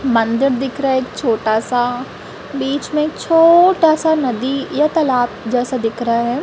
मंदिर दिख रहा है एक छोटा सा बीच में एक छोटा सा नदी या तालाब जैसा दिख रहा है।